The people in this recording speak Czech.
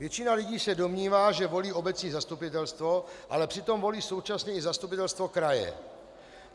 Většina lidí se domnívá, že volí obecní zastupitelstvo, ale přitom volí současně i zastupitelstvo kraje.